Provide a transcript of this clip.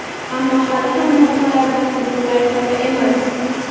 ammo hali ham muammolardan butunlay holi emas.